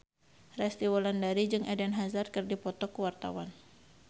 Resty Wulandari jeung Eden Hazard keur dipoto ku wartawan